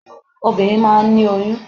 Obìnrin máà ń ní oyún.